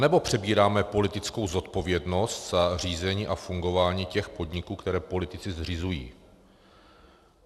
Anebo přebíráme politickou zodpovědnost za řízení a fungování těch podniků, které politici zřizují?